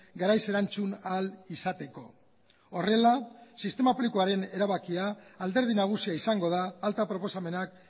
garaiz erantzun ahal izateko horrela sistema publikoaren erabakia alderdi nagusia izango da alta proposamenak